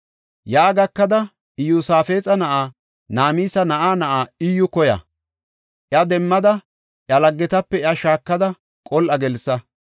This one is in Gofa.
Yaa gakada, Iyosaafexa na7aa, Namisa na7aa na7aa Iyyu koya. Iya demmada, iya laggetape iya shaakada qol7a gelsa.